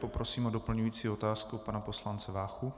Poprosím o doplňující otázku pana poslance Váchu.